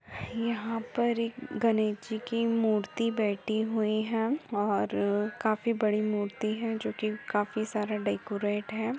यहाँ पर एक गणेश जी की मूर्ति बैठी हुई है और काफी बड़ी मूर्ति है जोकि काफी सारा डेकोरेट है।